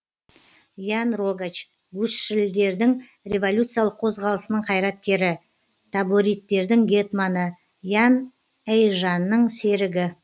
ян рогач гусшілдердің революциялық қозғалысының қайраткері табориттердің гетманы ян эйжанның серігі